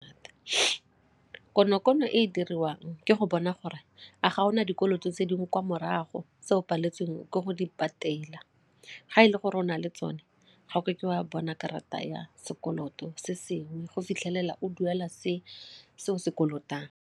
Konokono e e diriwang ke go bona gore a ga o na dikoloto tse dingwe kwa morago tse o paletswe eng ke go di patela, ga e le gore o na le tsone ga gore ke wa bona karata ya sekoloto se sengwe go fitlhelela o duela se o se kolotang.